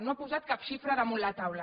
no ha posat cap xifra damunt la taula